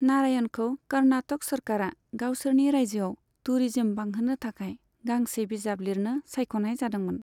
नारायणखौ कर्नाटक सोरखारआ गावसोरनि रायजोआव टुरिज्म बांहोनो थाखाय गांसे बिजाब लिरनो सायख'नाय जादोंमोन।